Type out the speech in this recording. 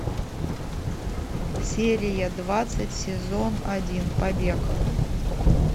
серия двадцать сезон один побег